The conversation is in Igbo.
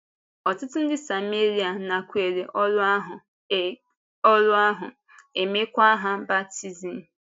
Ọtụtụ ndị Sáméria nakwèrè ọ́rụ ahụ, e ọ́rụ ahụ, e meekwa ha baptizim.